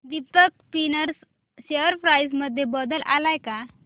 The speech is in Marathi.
दीपक स्पिनर्स शेअर प्राइस मध्ये बदल आलाय का